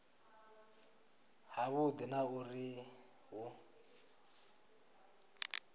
ha vhudi na uri hu